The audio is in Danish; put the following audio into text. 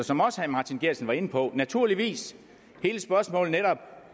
som også herre martin geertsen var inde på det naturligvis hele spørgsmålet